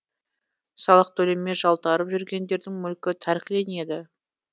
салық төлемей жалтарып жүргендердің мүлкі тәркіленеді